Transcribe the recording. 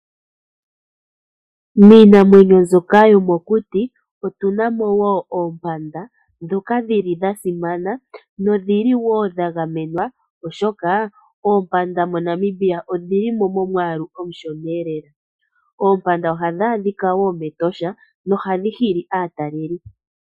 Miinamwenyo mbyoka yomokuti, otuna mo wo oompanda, ndhoka dhili dha simana nodhi li wo dha gamenwa, oshoka oompanda moNamibia odhi li mo momwaalu omushona lela. Oompanda ohadhi adhika wo mEtosha, nohadhi hili aatalelipo.